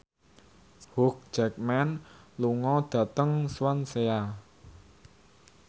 Hugh Jackman lunga dhateng Swansea